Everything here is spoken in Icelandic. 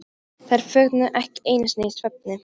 Þær þögnuðu ekki einu sinni í svefni.